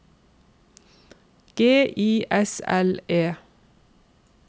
G I S L E